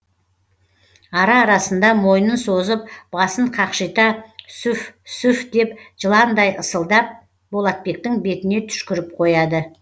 ара арасында мойнын созып басын қақшита сүф сүф деп жыландай ысылдап болатбектің бетіне түшкіріп қояды